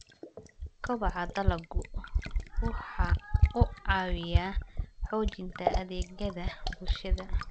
Kobaca dalaggu waxa uu caawiyaa xoojinta adeegyada bulshada.